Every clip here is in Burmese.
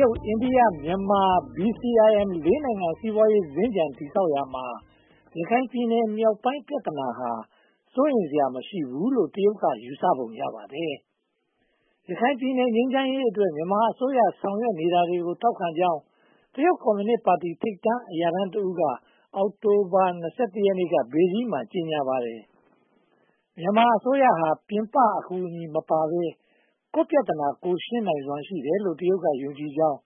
ရုတ်၊ အိန္ဒိယ၊ မြန်မာ - BCIM လေးနိုင်ငံ စီးပွားရေးစင်္ကြန် တည်ဆောက်ရေးမှာ ရခိုင်ပြည်နယ်မြောက်ပိုင်း ပြဿနာဟာ စိုးရိမ်စရာ မရှိဘူးလို့ တရုတ်က ယူဆပုံရပါတယ်။ ရခိုင်ပြည်နယ် ငြိမ်းချမ်းရေးအတွက် မြန်မာအစိုးရ ဆောင်ရွက်နေတာတွေကို ထောက်ခံကြောင်း တရုတ်ကွန်မြူနစ်ပါတီ ထိပ်တန်းအရာရှိတဦးက အောက်တိုဘာလ (၂၁) ရက်နေ့က ဘေဂျင်းမှာ ကြေညာပါတယ်။ မြန်မာအစိုးရဟာ ပြင်ပအကူအညီမပါဘဲ ကိုယ့်ပြဿနာ ကိုယ်ရှင်းနိုင်စွမ်း ရှိတယ်လို့ တရုတ်က ယုံကြည်ကြောင်း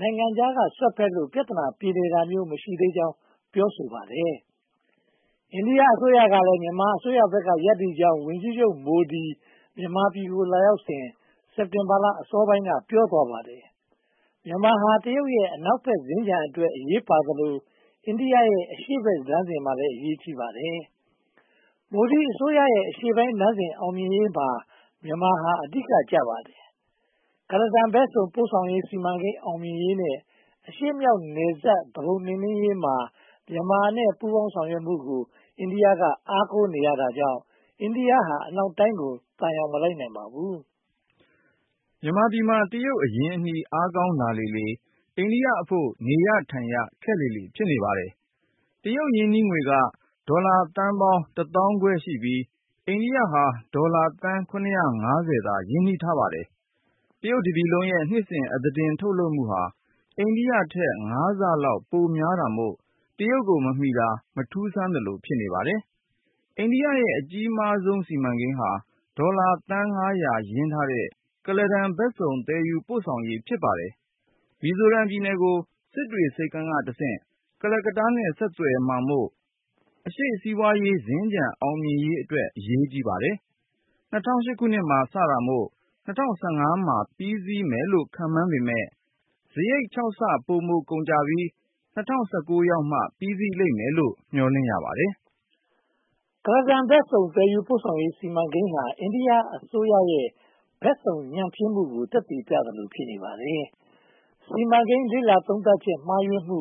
နိုင်ငံခြားက စွက်ဖက်လို့ ပြဿနာ ပြေလည်တာမျိုး မရှိသေးကြောင်း ပြောဆိုပါတယ်။ အိန္ဒိယအစိုးရကလည်း မြန်မာအစိုးရဘက်က ရပ်တည်ကြောင်း ဝန်ကြီးချုပ်မိုဒီ မြန်မာပြည်ကို လာရောက်စဉ် စက်တင်ဘာလ အစောပိုင်းက ပြောသွားပါတယ်။ မြန်မာဟာ တရုတ်ရဲ့ အနောက်ဘက်စင်္ကြန်အတွက် အရေးပါသလို အိန္ဒိယရဲ့ အရှေ့လမ်းစဉ်မှာလည်း အရေးကြီးပါတယ်။ မိုဒီအစိုးရရဲ့ အရှေ့ပိုင်းလမ်းစဉ် အောင်မြင်ရေးနဲ့ အရှေ့မြောက်နယ်စပ် သူပုန်နှိမ်နှင်းရေးမှာ မြန်မာရဲ့ ပူးပေါင်းဆောင်ရွက်မှုကို အိန္ဒိယက အားကိုးနေရကြောင်း အိန္ဒိယဟာ အနောက်တိုင်းကို သံယောင်မလိုက်နိုင်ပါဘူး။ မြန်မာပြည်မှာ တရုတ်အရင်းအနှီး အားကောင်းလာလေလေ အိန္ဒိယအဖို့ နေရထိုင်ရခက်လေလေ ဖြစ်နေပါတယ်။ တရုတ် ရင်းနှီးငွေက ဒေါ်လာသန်း (၁၅,၀၀၀) ရှိပြီး၊ အိန္ဒိယက ဒေါ်လာသန်း (၇၃၀) သာ ရင်းနှီးထားပါတယ်။ တရုတ်တပြည်လုံးရဲ့ နှစ်စဉ်အသားတင် ထုတ်လုပ်မှုဟာ အိန္ဒိယထက် (၅) ဆလောက် ပိုများတာမို့ တရုတ်ကို မမီတာ မထူးဆန်းသလို ဖြစ်နေပါတယ်။ အိန္ဒိယရဲ့ အကြီးဆုံးစီမံကိန်းဟာ ဒေါ်လာသန်း (၅၀၀) ရင်းထားတဲ့ ကုလားတန်ဘက်စုံ သယ်ယူပို့ဆောင်ရေး ဖြစ်ပါတယ်။ မီဇိုရမ်ပြည်နယ်ကို စစ်တွေဆိပ်ကမ်းကတဆင့် ကိုကတ္တားနဲ့ ဆက်သွယ်မှာမို့ အရှေ့စီးပွားရေးစင်္ကြန် အောင်မြင်ရေးအတွက် အရေးကြီးပါတယ်။ ၂၀၀၈ မှာ စတင်မှာမို့ ၂၀၁၅ မှာ ပြီးစီးမယ်လို့ ခန့်မှန်းပေမယ့် စရိတ် (၆) ဆ ပိုမိုကုန်ကျပြီး ၂၀၁၉ ရောက်မှ ပြီးစီးလိမ့်မယ်လို့ မျှော်လင့်ရပါတယ်။ ကုလားတန်ဘက်စုံ သယ်ယူပို့ဆောင်ရေး စီမံကိန်းဟာ အိန္ဒိယအစိုးရရဲ့ ဘက်စုံညံ့ဖျင်းမှုကို သက်သေပြသလို ဖြစ်နေပါတယ်။ စီမံကိန်း လေ့လာသုံးသပ်ချက် မှားယွင်းမှု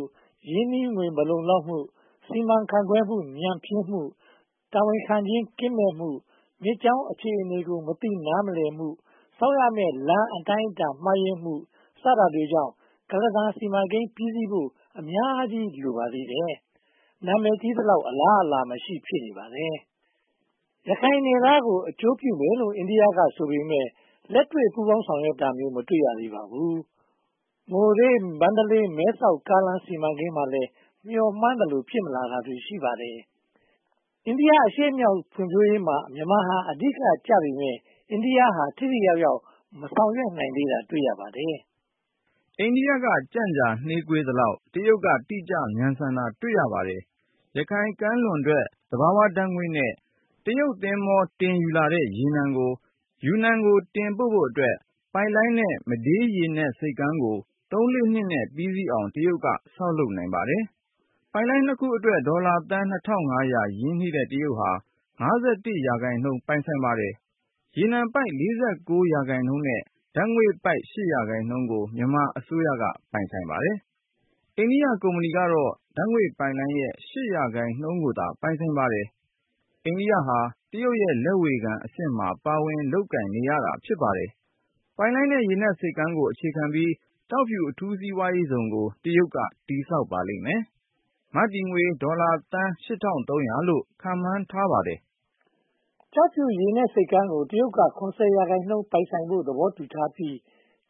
၊ ရင်းနှီးငွေ မလုံလောက်မှု၊ စီမံခန့်ခွဲမှုညံ့ဖျင်းမှု၊ တာဝန်ခံခြင်း ကင်းမဲ့မှု၊ မြစ်ကြောင်းအခြေအနေကို မသိနားမလည်မှု၊ ဆောက်ရမည့်လမ်း အတိုင်းအတာမှားယွင်းမှု စတာတွေကြောင့် ကုလားတန်စီမံကိန်း ပြီးစီးဖို့ အများကြီးလိုပါသေးတယ်။ နာမည်ကြီးသလောက် အလားအလာမရှိ ဖြစ်နေပါတယ်။ ရခိုင်နယ်သားတွေကို အကျိုးပြုမယ်လို့ အိန္ဒိယကဆိုပေမယ့် လက်တွေ့ပူးပေါင်းဆောင်ရွက်တာ မတွေ့ရသေးပါဘူး။ မိုရေး၊ မန္တလေး၊ မဲဆော့ကားလမ်း စီမံကိန်းမှာလည်း မျှော်မှန်းသလို ဖြစ်မလာတာ ရှိပါတယ်။ အိန္ဒိယအရှေ့မြောက်ဒေသ ဖွံ့ဖြိုးရေးမှာ မြန်မာဟာ အဓိကကျပေမယ့် အိန္ဒိယက ထိထိရောက်ရောက် မဆောင်ရွက်နိုင်သေးတာ တွေ့ရပါတယ်။ အိန္ဒိယ ကြန့်ကြာနှေးကွေးသလောက် တရုတ်က တိကျမြန်ဆန်တာကို တွေ့ရပါတယ်။ ရခိုင်ကမ်းလွန်ထွက် သဘာဝဓါတ်ငွေ့နဲ့ တရုတ်သင်္ဘော တင်ယူလာတဲ့ ရေနံကို ယူနန်ကို တင်ပို့ဖို့အတွက် ပိုက်လိုင်းနဲ့ မဒေး ရေနက်ဆိပ်ကမ်းကို သုံး-လေးလနဲ့ပြီးအောင် တရုတ်က ဆောက်လုပ်နိုင်ပါတယ်။ ပိုက်လိုင်းနှစ်ခုအတွက် ဒေါ်လာသန်း (၂၅၀၀) ရင်းနှီးတဲ့ တရုတ်ဟာ (၅၁) ရာခိုင်နှုန်း ပိုင်ပါတယ်။ ရေနံပိုက် (၄၉) ရာခိုင်နှုန်းနဲ့ ဓါတ်ငွေ့ပိုက် (၈) ရာခိုင်နှုန်းကိုသာ ပိုင်ဆိုင်ပါတယ်။ အိန္ဒိယဟာ တရုတ်ရဲ့ လက်ဝေခံအဆင့်မှာ ပါဝင်လုပ်ကိုင်နေရတာ ဖြစ်ပါတယ်။ ပိုက်လိုင်းနဲ့ ရေနက်ဆိပ်ကမ်းကို အခြေခံပြီး ကျောက်ဖြူအထူးစီးပွားဇုန်ကို တရုတ်က တည်ဆောက်ပါလိမ့်မယ်။ မတည်ငွေ ဒေါ်လာသန်း (၈၃၀၀) လို့ ခန့်မှန်းထားပါတယ်။ ကျောက်ဖြူရေနက်ဆိပ်ကမ်းကို တရုတ်က (၇၀) ရာခိုင်နှုန်း ပိုင်ဆိုင်ဖို့ သဘောတူထားပြီး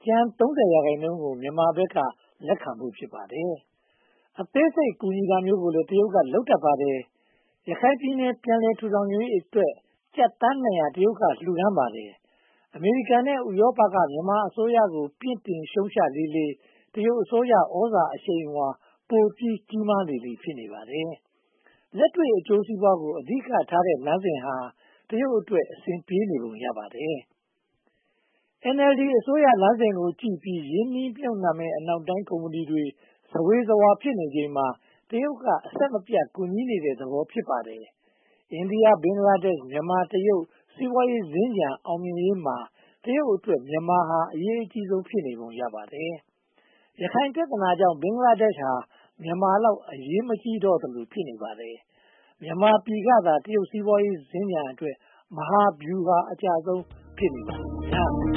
ကျန် (၃၀) ရာခိုင်နှုန်းကို မြန်မာဘက်က လက်ခံဖို့ ဖြစ်ပါတယ်။ အသေးစိတ် ကူညီတာမျိုးလည်း တရုတ်က လုပ်တတ်ပါတယ်။ ရခိုင်ပြည်နယ် ပြန်လည်ထူထောင်ရေးအတွက် ကျပ်သန်းနှစ်ရာ တရုတ်က လှုဒါန်းပါတယ်။ အမေရိကန်နဲ့ ဥရောပတို့က ပြစ်တင်ရှုတ်ချလေလေ တရုတ်အစိုးရ သြဇာအရှိန်အဝါ ပိုပြီးကြီးမားလေလေ ဖြစ်နေပါတယ်။ လက်တွေ့အကျိုးစီးပွားကို အဓိကထားတဲ့ လမ်းစဉ်ဟာ တရုတ်အတွက် အဆင်ပြေနေပုံ ရပါတယ်။ NLD အစိုးရလမ်းစဉ်ကိုကြည့်ပြီး ရင်းနှီးမြုပ်နံှမယ့် အနောက်တိုင်း ကုမ္ပဏီတွေ ဇဝေဇဝါ ဖြစ်နေချိန်မှာ တရုတ်က အဆင်မပြတ် ကူညီနေတဲ့သဘော ဖြစ်ပါတယ်။ အိန္ဒိယ၊ ဘင်္ဂလားဒေ့ရှ်၊ မြန်မာ၊ တရုတ် စီးပွားရေးစင်္ကြန် အောင်မြင်ရေးမှာ တရုတ်အတွက် မြန်မာဟာ အရေးအကြီးဆုံး ဖြစ်နေပုံရပါတယ်။ ရခိုင်ပြဿနာကြောင့် ဘင်္ဂလားဒေ့ရှ်ဟာ မြန်မာလောက် အရေးမကြီးတော့သလို ဖြစ်နေပါတယ်။ မြန်မာပြည်ကသာ တရုတ်စီးပွားရေးစင်္ကြန်အတွက် မဟာဗျူဟာအကျဆုံး ဖြစ်နေပါတယ်